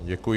Děkuji.